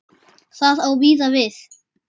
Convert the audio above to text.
Það á víða við.